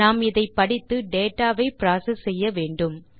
நாம் இதை படித்து டேட்டா வை புரோசெஸ் செய்ய வேண்டும்